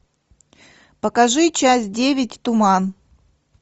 покажи часть девять туман